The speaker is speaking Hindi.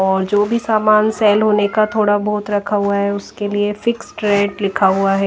और जो भी सामान सेल होने का थोड़ा बहोत रखा हुआ है उसके लिए फिक्स रेट लिखा हुआ है।